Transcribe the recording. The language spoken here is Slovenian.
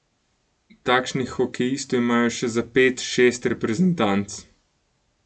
Takšnih hokejistov imajo še za pet, šest reprezentanc.